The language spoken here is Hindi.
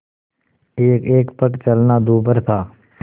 एकएक पग चलना दूभर था